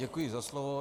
Děkuji za slovo.